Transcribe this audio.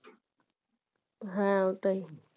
হ্যাঁ ওটাই